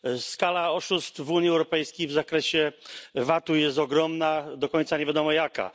Skala oszustw w Unii Europejskiej w zakresie VAT u jest ogromna, do końca nie wiadomo jaka.